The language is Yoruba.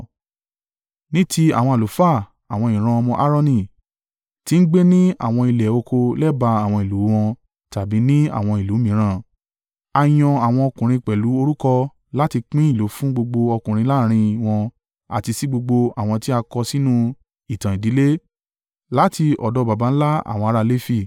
Ní ti àwọn àlùfáà, àwọn ìran ọmọ Aaroni, tí ń gbé ni àwọn ilẹ̀ oko lẹ́bàá àwọn ìlú wọn tàbí ní àwọn ìlú mìíràn. A yan àwọn ọkùnrin pẹ̀lú orúkọ láti pín ìlú fún gbogbo ọkùnrin láàrín wọn àti sí gbogbo àwọn tí a kọ sínú ìtàn ìdílé láti ọ̀dọ̀ baba ńlá àwọn ará Lefi.